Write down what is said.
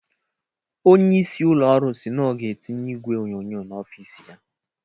Onye isi ụlọ ọrụ si na ọ ga-etinye igwe onyonyo n'ọfis ya.